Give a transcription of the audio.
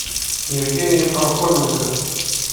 евгений пархоменко